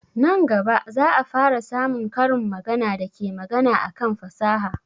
Nan gaba za a fara samun karin magana da ke magana akan fasaha